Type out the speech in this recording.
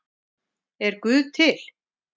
Er guð til